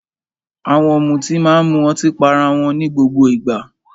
Àwọn ọ̀mùtí máa ń mu ọtí pá ará wọn ní gbogbo ìgbà.